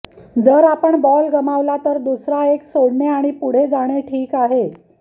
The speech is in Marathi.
जर आपण बॉल गमावला तर दुसरा एक सोडणे आणि पुढे जाणे ठीक आहे